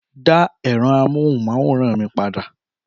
Dá ẹ̀rọ amóhùnmáwòrán mi padà